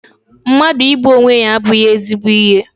mmadụ igbu onwe ya abụghị ezigbo ihe.